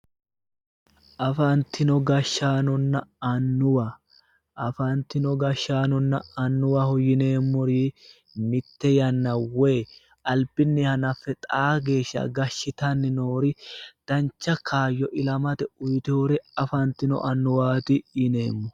Afantino gashaanonna annuwa afantino gashaanonna annuwaho yineemmori mitte yanna woyi albinni hanaffe xaa geeshsha gashitanni noori dancha kaayyo ilamate uyiteewore afantino annuwaati yineemo.